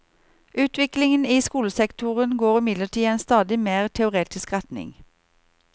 Utviklingen i skolesektoren går imidlertid i en stadig mer teoretisk retning.